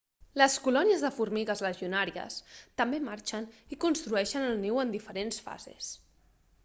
les colònies de formigues legionàries també marxen i construeixen el niu en diferents fases